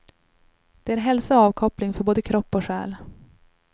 Det är hälsa och avkoppling för både kropp och själ.